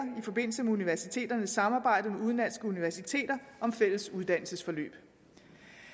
i forbindelse med universiteternes samarbejde med udenlandske universiteter om fælles uddannelsesforløb i